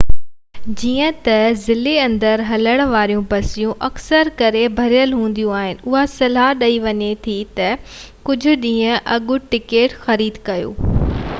جيئن ته ضلعي-اندر هلڻ واريون بسون اڪثر ڪري ڀريل هونديون آهن اها صلاح ڏني وڃي ٿي ته ڪجهه ڏينهن اڳ ٽڪيٽ خريد ڪريو